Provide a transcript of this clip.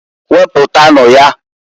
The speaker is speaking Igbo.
Wepụtanu ya.